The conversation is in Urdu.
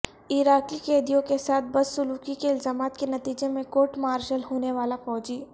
عراقی قیدیوں کے ساتھ بدسلوکی کے الزامات کے نتیجے میں کورٹ مارشل ہونے والا فوجی